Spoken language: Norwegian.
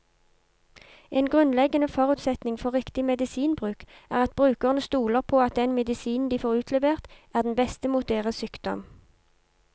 En grunnleggende forutsetning for riktig medisinbruk er at brukerne stoler på at den medisinen de får utlevert, er den beste mot deres sykdom.